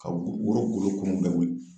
Ka woro golo kumun bɛɛ wuli